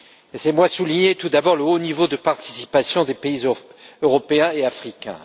Laissez moi souligner, tout d'abord, le haut niveau de participation des pays européens et africains.